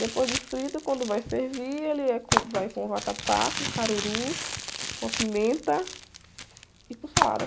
Depois de frito, quando vai servir, ele é com, vai com o vatapá, com caruru, com a pimenta e com salada.